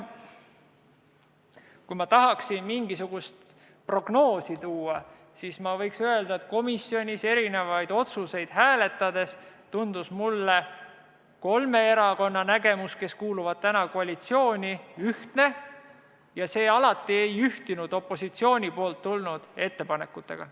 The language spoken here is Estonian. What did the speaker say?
Kui ma tahaksin mingisugust oletust teha, siis võiksin öelda, et komisjonis erinevaid otsuseid hääletades tundus mulle kolme koalitsioonierakonna nägemus ühtne ja see ei ühtinud alati opositsioonist tulnud ettepanekutega.